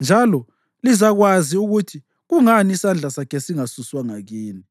njalo lizakwazi ukuthi kungani isandla sakhe singasuswanga kini.”